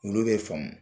Olu bɛ faamu